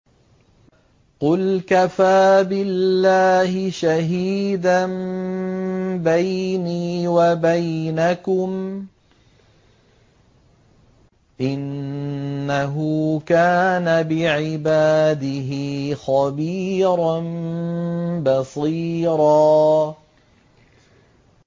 قُلْ كَفَىٰ بِاللَّهِ شَهِيدًا بَيْنِي وَبَيْنَكُمْ ۚ إِنَّهُ كَانَ بِعِبَادِهِ خَبِيرًا بَصِيرًا